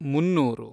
ಮುನ್ನೂರು